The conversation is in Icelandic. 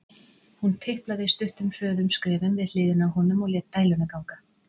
Hún tiplaði stuttum, hröðum skrefum við hliðina á honum og lét dæluna ganga.